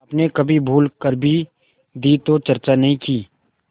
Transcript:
आपने कभी भूल कर भी दी तो चर्चा नहीं की